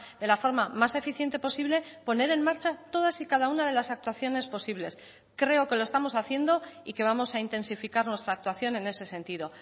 de la forma más eficiente posible poner en marcha todas y cada una de las actuaciones posibles creo que lo estamos haciendo y que vamos a intensificar nuestra actuación en ese sentido